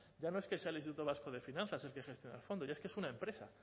ya no es que sea el instituto vasco de finanzas el que gestiona el fondo ya es que es una empresa